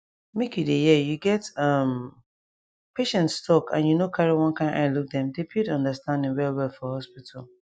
make you dey hear you get um patients talk and you no carry one kind eye look dem dey build understanding well well for hospital